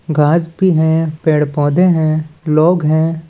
घाँस भी है पेड़-पौधे हैं लोग हैं।